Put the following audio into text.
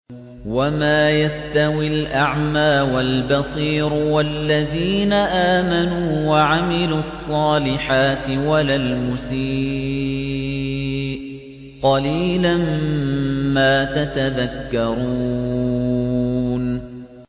وَمَا يَسْتَوِي الْأَعْمَىٰ وَالْبَصِيرُ وَالَّذِينَ آمَنُوا وَعَمِلُوا الصَّالِحَاتِ وَلَا الْمُسِيءُ ۚ قَلِيلًا مَّا تَتَذَكَّرُونَ